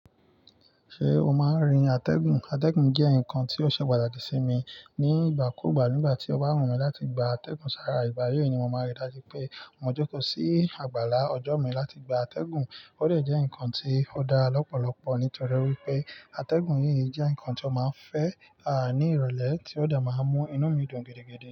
Ṣé o máa ń rin atẹ́gùn? Atẹ́gùn jẹ́ nǹkan tí ó ṣe pàtàkì sí mi ní ìgbà kú ìgbà. Nígbà tí ọba wùn mí láti gba atẹ́gùn sára ìgbà yí ni mo mọ rí dájú pé mo jókòó sí àgbàlá ọjọ́ mi láti gba atẹ́gùn. Ó dè jẹ́ ǹkan tí ó dá lọ́pọ̀lọpọ̀ nítorí wípé atẹ́gùn yìí jẹ́ ǹkan tí ó máa ń fẹ́ a ní ìrọ̀lẹ́ tí ó de máa ń mú inú mi dùn gidigidi.